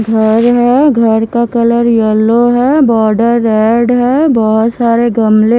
घर है घर का कलर येलो है बॉर्डर रेड है बहुत सारे गमले--